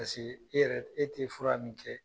Paseke e yɛrɛ e tɛ fura min kɛ.